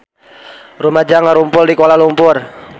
Rumaja ngarumpul di Kuala Lumpur